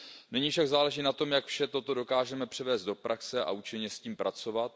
Nyní však záleží na tom, jak vše toto dokážeme převést do praxe a účinně s tím pracovat.